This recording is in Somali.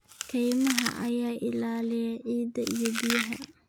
Kaymaha ayaa ilaaliya ciidda iyo biyaha.